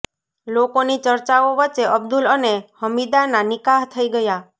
લોકોની ચર્ચાઓ વચ્ચે અબ્દુલ અને હમીદાના નિકાહ થઇ ગયા